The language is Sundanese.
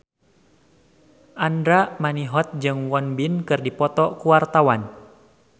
Andra Manihot jeung Won Bin keur dipoto ku wartawan